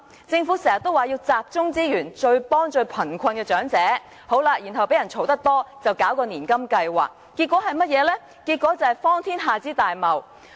政府時常說要集中資源，幫助最貧困的長者，然後因經常被批評，便推出年金計劃，結果是荒天下之大謬。